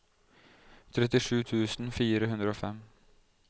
trettisju tusen fire hundre og fem